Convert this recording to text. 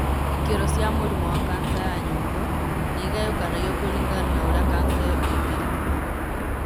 Ikĩro cia mũrimũ wa kanca ya nyongo nĩ igayũkanagio kũringana na ũrĩa kanca ĩyo ĩngĩrigitwo.